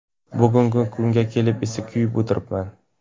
Bugungi kunga kelib esa kuyib o‘tiribman.